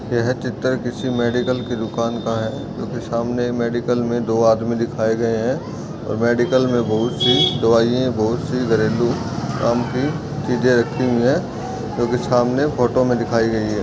यह चित्र किसी मेडिकल के दुकान का है जोकि सामने मेडिकल में दो आदमी दिखाई दे रहे है और मेडिकल मे बहुत -सी दवाइयाँ-- बहुत सी घरेलू काम की चीजे रखी हुई है जोकि सामने फोटो मे दिखाई गई है।